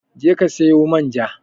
Je ki sayo man ja